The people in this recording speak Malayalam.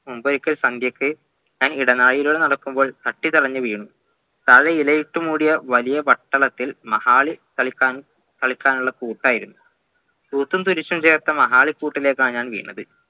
മുമ്പൊരിക്കൽ സന്ധ്യക്ക് അങ്ങ് ഇടനാഴിയിലൂടെ നടക്കുമ്പോ കത്തി തടഞ്ഞു വീണു താഴെയിലായിട്ട്മൂടിയ വലിയ വട്ടളത്തിൽ മഹാല് കളിക്കാൻ കളിക്കാനുള്ള കൂട്ടായിരുന്നു ചേർത്തമാഹാളി കൂട്ടിലാണ്‌ ഞാൻ വീണത്